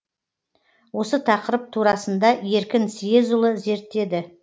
осы тақырып турасында еркін съезұлы зерттеді